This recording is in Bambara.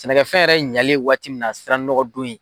Sɛnɛkɛ fɛn yɛrɛ ɲɛlen waati min na, a sera nɔgɔdon ye.